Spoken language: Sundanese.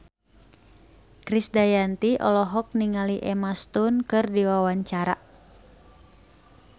Krisdayanti olohok ningali Emma Stone keur diwawancara